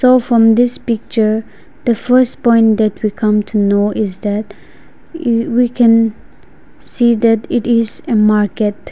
so from this picture the first point that we come to know is that eh we can see that it is a market.